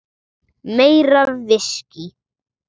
Meira viskí.